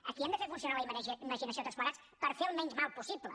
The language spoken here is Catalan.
aquí hem de fer funcionar la imaginació tots plegats per fer el menys mal possible